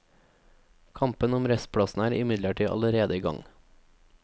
Kampen om restplassene er imidlertid allerede i gang.